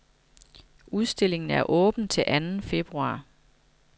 Udstillingen er åben til anden februar.